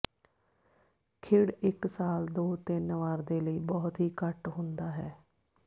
ਖਿੜ ਇੱਕ ਸਾਲ ਦੋ ਤਿੰਨ ਵਾਰ ਦੇ ਲਈ ਬਹੁਤ ਹੀ ਘੱਟ ਹੁੰਦਾ ਹੈ